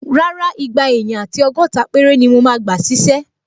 Rárá, igba èèyàn àti ọgọ́ta péré ni mo máa gbà ṣísẹ́